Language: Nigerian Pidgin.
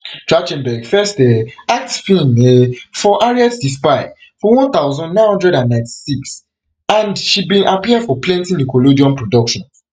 trach ten berg first um act feem um for harriet di spy for one thousand, nine hundred and ninety-six and she bin appear for plenti nickelodeon productions